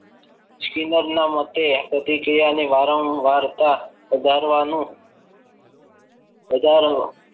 Skinner ના મુજબ આ પ્રતિકીયાને વારંવાર કરતા વધારવાનુ વધારો.